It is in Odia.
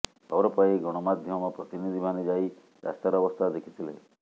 ଖବର ପାଇ ଗଣମାଧ୍ୟମ ପ୍ରତିନିଧିମାନେ ଯାଇ ରାସ୍ତାର ଅବସ୍ଥା ଦେଖିଥିଲେ